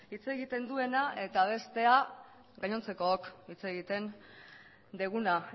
hitz egiten duena eta bestea gainontzekook hitz egiten duguna